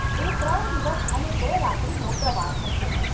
એ ત્રણ દિવસ અને બે રાત્રીનો પ્રવાસ હશે.